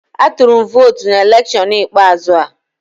Atụrụ m votu na electiọnụ ikpeazụ a